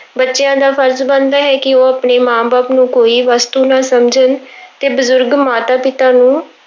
ਬੱਚਿਆਂ ਦਾ ਫ਼ਰਜ਼ ਬਣਦਾ ਹੈ ਕਿ ਆਪਣੇ ਮਾਂ ਬਾਪ ਨੂੰ ਕੋਈ ਵਸਤੂ ਨਾ ਸਮਝਣ ਤੇ ਬਜ਼ੁਰਗਾਂ ਮਾਤਾ-ਪਿਤਾ ਨੂੰ